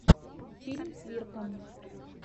фильм свирка